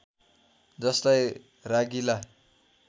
जसलाई रागिला